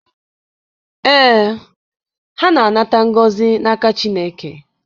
Ee, ha na-anata ngọzi n'aka Chineke.